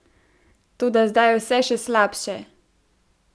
Toda zdaj je vse še slabše!